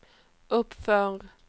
uppför